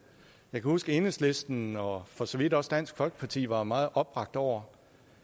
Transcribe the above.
jeg kan huske at enhedslisten og for så vidt også dansk folkeparti var meget opbragte over